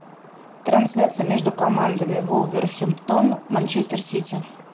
трансляция между командами вулверхэмптон манчестер сити